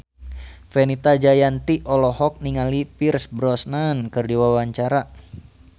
Fenita Jayanti olohok ningali Pierce Brosnan keur diwawancara